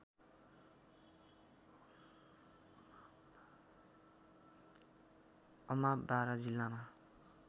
अमाव बारा जिल्लामा